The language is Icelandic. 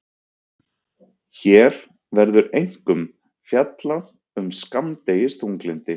hér verður einkum fjallað um skammdegisþunglyndi